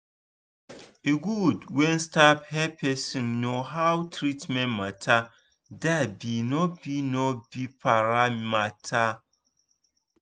e goood when staff hep persin know how treatment matter da be no be no be para matter